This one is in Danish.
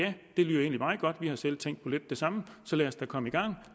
meget godt vi har selv tænkt på lidt det samme lad os da komme i gang